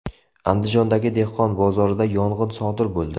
Andijondagi dehqon bozorida yong‘in sodir bo‘ldi .